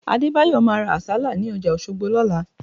Adébáyọ̀ máa ra Àsálà ní ọjà Òṣogbo lọ́la